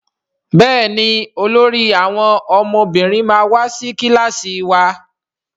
Béèni olórí àwọn ọmọbìnrin ma wá sí kilasi wá.